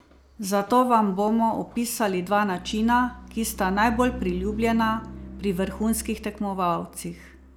Zato vam bomo opisali dva načina, ki sta najbolj priljubljena pri vrhunskih tekmovalcih.